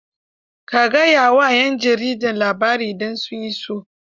Ka gayawa 'yan jaridar labarin idan sun iso.